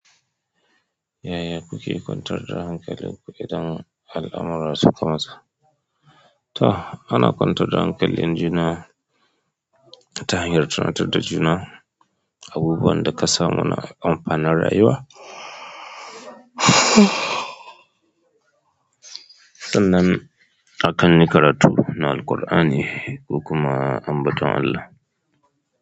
Yaya kuke kwantar da hankali ku idan al'amurarsu ta sa to ana kwantar da hankalin ijina ta hanyar tunatar da juna abubuwan da ka samu na amfanar rayuwa. Sannan akan yi karatu na Alqur'ani ku kuma ambata Allah.